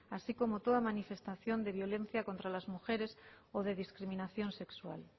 así como toda manifestación de violencia contra las mujeres o de discriminación sexual